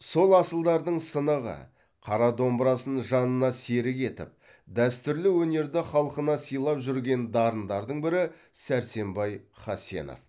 сол асылдардың сынығы қара домбырасын жанына серік етіп дәстүрлі өнерді халқына сыйлап жүрген дарындардың бірі сәрсенбай хасенов